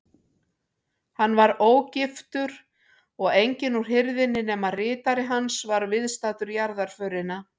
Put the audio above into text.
Hann var ógiftur og enginn úr hirðinni nema ritari hans var viðstaddur jarðarförina.